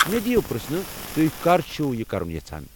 مے٘ دِیو پرژھنہٕ ، تُہۍ كر چھِوٕ یہِ كرُن یژھان ؟